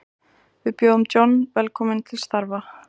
Við bjóðum John velkominn til starfa.